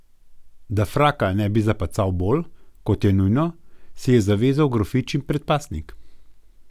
Da fraka ne bi zapacal bolj, kot je nujno, si je zavezal grofičin predpasnik.